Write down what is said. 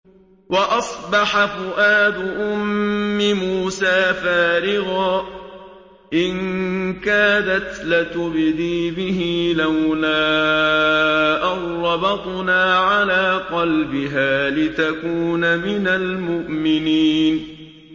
وَأَصْبَحَ فُؤَادُ أُمِّ مُوسَىٰ فَارِغًا ۖ إِن كَادَتْ لَتُبْدِي بِهِ لَوْلَا أَن رَّبَطْنَا عَلَىٰ قَلْبِهَا لِتَكُونَ مِنَ الْمُؤْمِنِينَ